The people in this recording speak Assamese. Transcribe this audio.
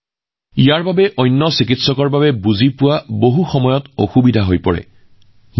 ইয়াৰ ফলত কেতিয়াবা আন চিকিৎসকসকলে বুজিবলৈ বৰ অসুবিধাৰ সৃষ্টি কৰে